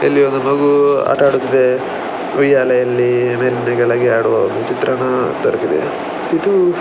ಇಲ್ಲಿ ಒಂದು ಮಗು ಆಟ ಆಡುತ್ತಿದೆ ಉಯ್ಯಾಲೆಯಲ್ಲಿ ಬೆಂದು ಕೆಳಗೆ ಆಡುವ ಒಂದು ಚಿತ್ರಣ ದೊರಕಿದೆ ಇದು --